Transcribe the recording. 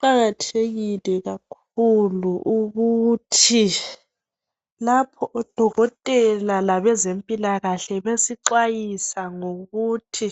Kuqakathekile kakhulu ukuthi lapho odokotela labezempilakahle bexhwayisa ngokuthi